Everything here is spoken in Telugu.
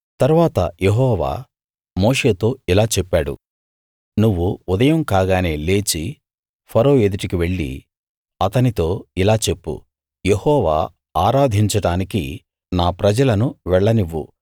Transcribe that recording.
తరువాత యెహోవా మోషేతో ఇలా చెప్పాడు నువ్వు ఉదయం కాగానే లేచి ఫరో ఎదుటికి వెళ్లి అతనితో ఇలా చెప్పు యెహోవా ఆరాధించడానికి నా ప్రజలను వెళ్లనివ్వు